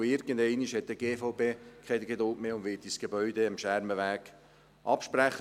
Denn irgendeinmal hat die BVD keine Geduld mehr und wird uns das Gebäude am Schermenweg absprechen.